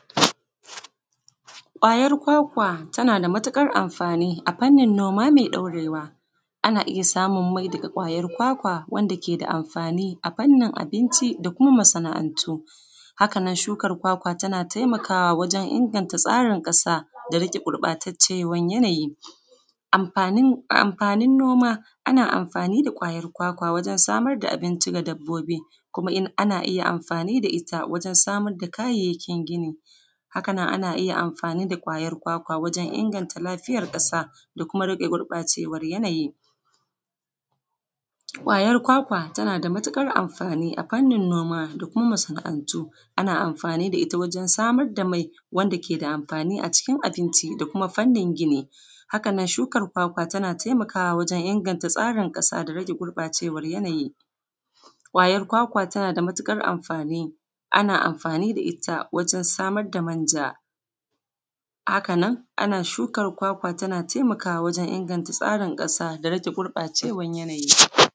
Ƙwayar kwakwa tana da matukar amfani a fanni noma mai ɗaurewa, ana iya samun mai daga ƙwayar kwakwa da ke da amfani a fannin abinci da kuma masana'antu. Haka nan kuma shuka kwakwa tana taimakawa wajen inganta tsarin ƙasa da rage gurɓacewar yanayi. Amfanin noma ana amfani da kwakwa wajen samar da abinci ga dabbobi kuma ana iya amfani da ita wajen samar da kayayyakin gona Haka kuma ana iya amfani da ƙwayar kwakwa wajen inganta lafiya ƙasa da yanayi. Ƙwayar kwakwa tana da matukar amfani a fannin noma da kuma masana'antu, ana amfani da ita wajen samar da mai wanda ke da amfani a cikin abinci da kuma fannin gini. Haka kuma shukar kwakwa tana taimakawa wajen gyara ƙasa da rage gurɓacewar yanayi. Ƙwayar kwakwa tana da matukar amfani, ana amfani da ita wajen samar da manja. Haka nan ana shukar kwakwa tana taimakawa wajen tsarin ƙasa da rage gurɓacewar yanayi